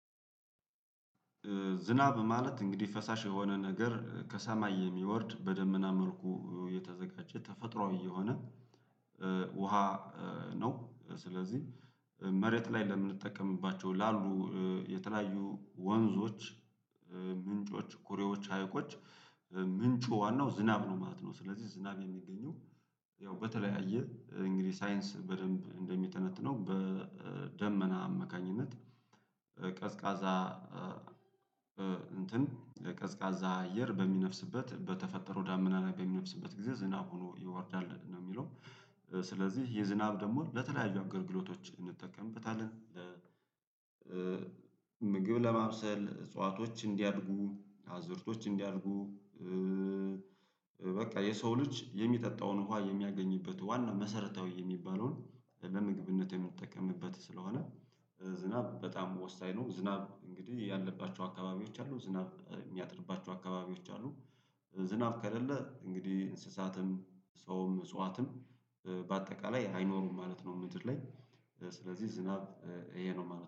ዝናብ ማለት እንግዲህ ፈሳሽ የሆነ ነገር ከሰማይ የሚወርድ በደመና መልኩ የተዘጋጀ ተፈጥሮአዊ የሆነ ውሃ ነው። ስለዚህ መሬት ላይ ለምንጠቀምባቸው ላሉ የተለያዩ ወንዞች ምንጮች ኩሬዎች ሀይቆች ምንጩ ዋናው ዝናብ ነው ማለት ነው። ስለዚህ ዝናብ የሚገኘው ያው በተለያየ እንግዲህ ሳይንስ በደንብ እንደሚተነትነው በደመና አማካኝነት ቀዝቃዛ እንትን የቀዝቃዛ አየር በሚነፍስበት በተፈጠረው ዳመና ነው በሚነፍስበት ጊዜ ዝናብ ሆኖ ይወርዳል ነው። የሚለው ስለዚህ የዝናብ ደግሞ ለተለያዩ አገልግሎቶች እንጠቀምበታለን። ምግብ ለማብሰል እጽዋቶች እንዲያድጉ አዝእርቶች እንዲያድጉ በቃ የሰው ልጅ የሚጠጣውን ውሃ የሚያገኝበት ዋና መሰረታዊ የሚባለውን ለምግብነት የምንጠቀምበት ስለሆነ ዝናብ በጣም ወሳኝ ነው። ዝናብ እንግዲህ ያለባቸው አካባቢዎች አሉ ዝናብ የሚያጥርባቸው አካባቢዎች አሉ። ዝናብ ከሌለ እንግዲህ እንስሳትም ሰውም እጽዋትም በአጠቃላይ አይኖሩም ማለት ነው። ምድር ላይ ስለዚህ ዝናብ ይሄ ነው ማለት ነው